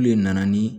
Olu de nana ni